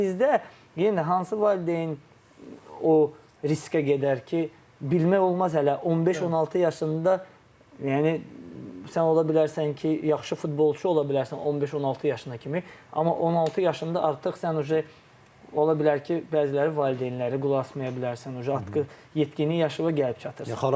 Amma bizdə yenə də hansı valideyn o riskə gedər ki, bilmək olmaz hələ 15-16 yaşında yəni sən ola bilərsən ki, yaxşı futbolçu ola bilərsən 15-16 yaşına kimi, amma 16 yaşında artıq sən uje ola bilər ki, bəziləri valideynləri qulaq asmaya bilərsən uje yetkinlik yaşına gəlib çatır.